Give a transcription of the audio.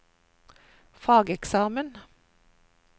fageksamen